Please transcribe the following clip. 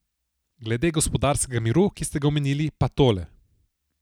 Glede gospodarskega miru, ki ste ga omenili, pa tole.